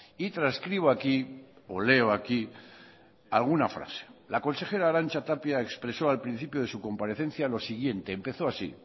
y transcribo aquí o leo aquí alguna frase la consejera arantza tapia expresó al principio de su comparecencia lo siguiente empezó así